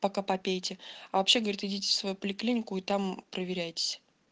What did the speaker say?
пока попейте а вообще говорят идите в свою поликлинику и там проверяйтесь